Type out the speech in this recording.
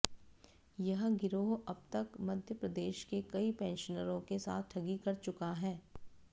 यह गिरोह अब तक मप्र के कई पेंशनरों के साथ ठगी कर चुका है